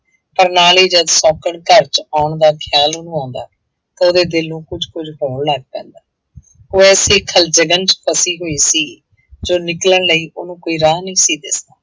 ਪਰ ਨਾਲ ਹੀ ਜਦ ਸੌਂਕਣ ਘਰ ਚ ਆਉਣ ਦਾ ਖ਼ਿਆਲ ਉਹਨੂੰ ਆਉਂਦਾ ਤਾਂ ਉਹਦੇ ਦਿਲ ਨੂੰ ਕੁੱਝ ਕੁੱਝ ਹੋਣ ਲੱਗ ਪੈਂਦਾ ਉਹ ਐਸੀ ਖਲਵਿਘਨ ਚ ਫਸੀ ਹੋਈ ਸੀ ਚੋਂ ਨਿਕਲਣ ਲਈ ਉਹਨੂੰ ਕੋਈ ਰਾਹ ਨਹੀਂ ਸੀ ਦਿੱਸਦਾ।